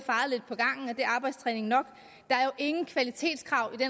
og arbejdstræning nok der er jo ingen kvalitetskrav i